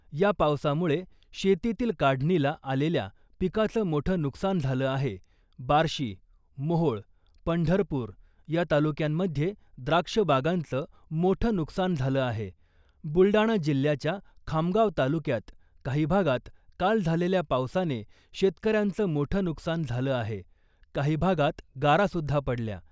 या पावसामुळे शेतीतील काढणीला आलेल्या पीकाचं मोठं नुकसान झालं आहे. बार्शी , मोहोळ , पंढरपूर या तालुक्यांमध्ये द्राक्ष बागांचं मोठं नुकसान झालं आहे, बुलडाणा जिल्हयाच्या खामगाव तालुक्यात काही भागात काल झालेल्या पावसाने शेतकऱ्यांचं मोठं नुकसान झालं आहे. काही भागात गारा सुद्धा पडल्या .